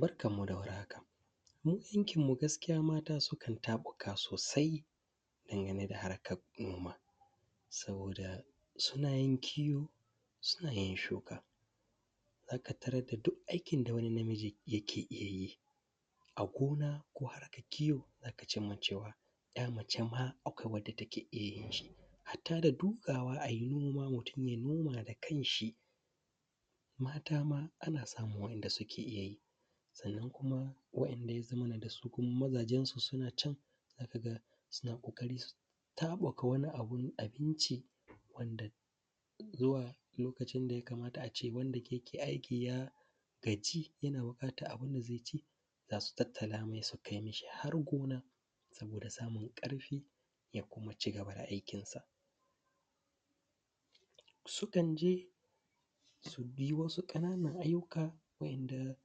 Barkanmu da warhaka. Wurin aikinmu gaskiya mata sukan taɓukawa sosai dangane da harkar noma. Saboda suna yin kiwo, suna yin shuka, za ka tarar da duk aiki da wani namiji yake iya yi a gona ko a harkar kiwo; za ka cimma cewa 'ya mace ma akwai wadda ta ke iya yin shi. Hatta da duƙawa a yi noma, mutum ya noma da kan shi mata ma ana samun wanda suke iya yi. Sannan kuma, waɗanda ya zamana da su kuma mazajensu suna can, za ka ga suna ƙoƙarin taɓuka wani abu na abinci, wanda zuwa lokacin da ya kamata a ce wanda yake aiki ya gaji; yana buƙatar abin da zai ci. Zasu tattalamai su kai mishi har gona. Saboda samun ƙarfi ya kuma ci gaba da aikinsa. Sukan je su bi wasu ƙananan ayyuka waɗanda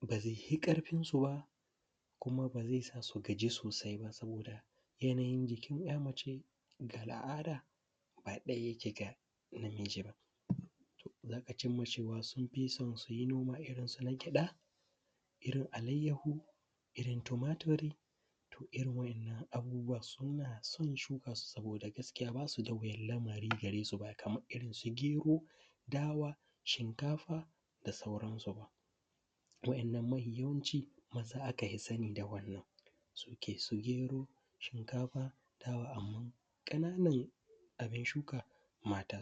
ba zai fi ƙarfinsu ba, kuma ba zai sa su gaji sosai ba. Saboda yanayin jikin 'ya mace ga al'ada ba ɗaya yake da namiji ba. Za ka cimma cewa, sun fi son su yi noma irin na gyaɗa, irin alayyaho, irin tumatiri. To irin waɗannan abubuwa suna son shuka su, saboda gaskiya ba su da wuyar lamarin gyara ba kamar irinsu gero, dawa, shinkafa, da sauransu ba. Waɗannan mafi yawanci maza aka fi sani da wannan su ke su gero, shinkafa, dawa, amman ƙananan abin shuka mata.